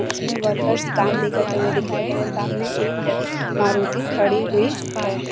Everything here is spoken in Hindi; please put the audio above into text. इसमें वर्क्स काम भी करते हुए दिखाई दे रहे है सामने एक मारुति खड़ी हुई है।